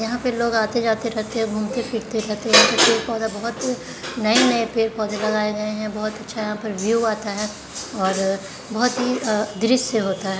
यहाँ पे लोग आते जाते रहते है घुमते फिरते रहते हैं यहाँ पर पेड़ - पौंधा बहुत नए - नए पेड़ - पौंधे लगाये गए हैं बहुत अच्छा यहाँ पर व्यू आता हैं और अअ बहुत ही अ दृश्य होता हैं।